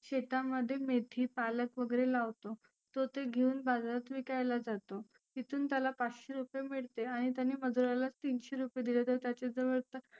शेतामध्ये मेथी, पालक वगैरे लावतो तो ते घेऊन बाजारात विकायला जातो. तिथुन त्याला पाचशे रुपए मिळते आणि त्याने मजुरालाच तिनशे रुपए दिले तर त्याच्या जवळ तर